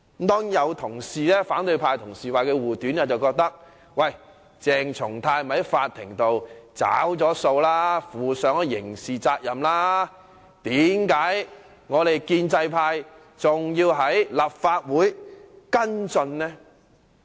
當然，有反對派同事為他護短，認為鄭松泰已經在法庭上"找數"了，負上了刑事責任，為何建制派還要在立法會跟進呢？